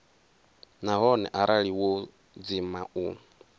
nahone arali wo dzima u